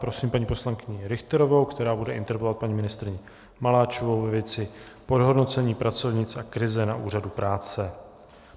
Prosím paní poslankyni Richterovou, která bude interpelovat paní ministryni Maláčovou ve věci podhodnocení pracovnic a krize na Úřadu práce.